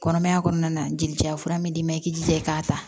Kɔnɔmaya kɔnɔna na jeli ja fura m'i ma i k'i da i k'a ta